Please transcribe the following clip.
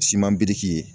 Siman biriki ye